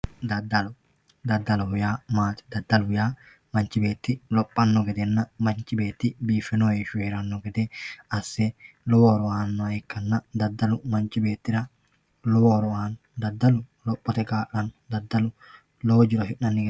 daddalo, daddaloho yaa maati? daddaloho yya manchu beeti lophitino heeshhsinna biiffino heeshsho hee'ranno gede asse lowo horo aannoha ikkanna daddalu manchi beettira lowo horo aanno, daddalu lophote kaa'lanno daddalu lowo jiro afi'nanni gede kaa'lanno